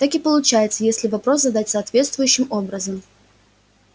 так и получается если вопрос задавать соответствующим образом